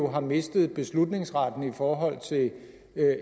har mistet beslutningsretten i forhold til